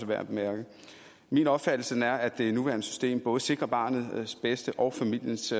værd at bemærke min opfattelse er at det nuværende system både sikrer barnets bedste og familiens